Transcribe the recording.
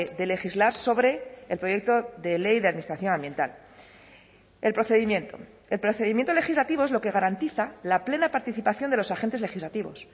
de legislar sobre el proyecto de ley de administración ambiental el procedimiento el procedimiento legislativo es lo que garantiza la plena participación de los agentes legislativos